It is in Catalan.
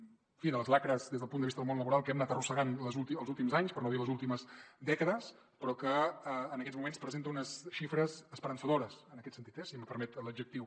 en fi de les tares des del punt de vista del món laboral que hem anat arrossegant els últims anys per no dir les últimes dècades però que en aquests moments presenta unes xifres esperançadores en aquest sentit eh si em permet l’adjectiu